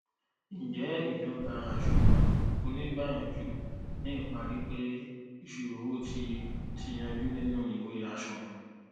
ǹjẹ ìdọgba àsunwon oníìgbàyànjú ni ìparí pé ìṣirò owo ti ti yanjú nínu ìwé àsunwon